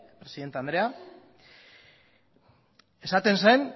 presidente andrea esaten zen